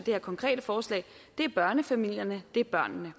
her konkrete forslag er børnefamilierne det er børnene